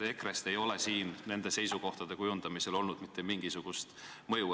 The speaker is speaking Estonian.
EKRE-l ei ole nende seisukohtade kujundamisele olnud mitte mingisugust mõju.